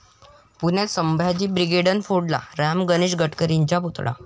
पुण्यात संभाजी ब्रिगेडनं फोडला राम गणेश गडकरींचा पुतळा